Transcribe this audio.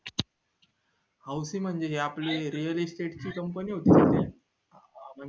म्हणजे हि आपली real estate ची company होती